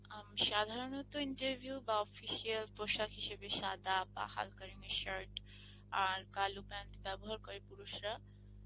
সাধারণত interview বা official পোশাক হিসেবে সাদা বা হালকা shirt আর কালো pant বেবহার করে পুরুষ রা,